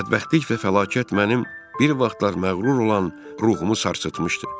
Bədbəxtlik və fəlakət mənim bir vaxtlar məğrur olan ruhumu sarsıtmışdı.